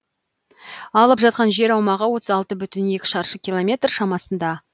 алып жатқан жер аумағы отыз алты бүтін оннан екі шаршы километр шамасында